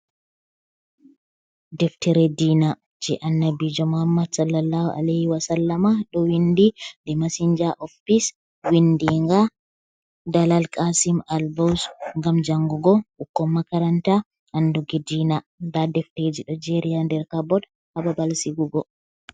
Deftere diina, je annabijo mohamad sallallahu aleyhi wa sallama ɗo windi de mesinja of piss windinga dalal qaasim albos, ngam jangugo ɓukkon makaranta anduki diina, nda defteji ɗo jeeri ha nder Kabot ha babal siigugo.